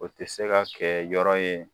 O tɛ se ka kɛ yɔrɔ ye